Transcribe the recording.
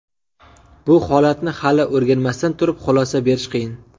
Bu holatni hali o‘rganmasdan turib, xulosa berish qiyin.